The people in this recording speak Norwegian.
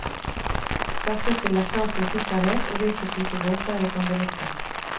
Dette stiller krav til sikkerhet og hvilke type båter vi kan benytte.